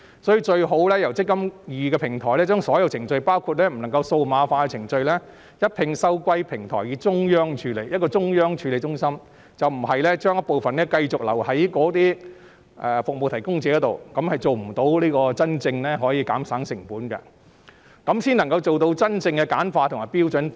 所以，最好由"積金易"平台將所有程序，包括不能數碼化的程序，一併收歸平台並交予中央處理中心，而不是將一部分程序繼續留在服務提供者，因為這樣做將不能做到真正減省成本的目的，做到真正簡化及標準化。